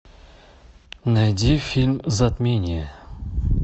найди фильм затмение